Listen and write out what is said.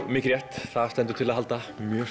mikið rétt það stendur til að halda